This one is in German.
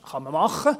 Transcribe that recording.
Kann man machen.